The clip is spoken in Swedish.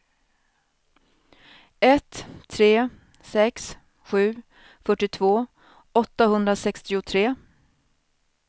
ett tre sex sju fyrtiotvå åttahundrasextiotre